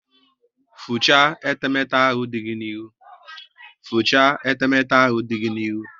Fichaa etemete ahụ dị gị n'ihu!